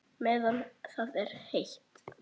Meðan það er heitt.